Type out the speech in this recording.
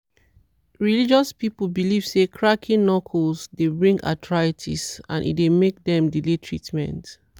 religious people believe say cracking knuckle dey bring arthritis and e dey make dem delay treatment.